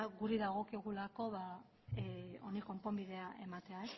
guri dagokigulako ba honi konponbidea ematea